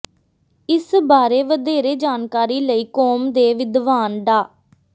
ਇਸ ਬਾਰੇ ਵਧੇਰੇ ਜਾਣਕਾਰੀ ਲਈ ਕੋਮ ਦੇ ਵਿਦਵਾਨ ਡਾ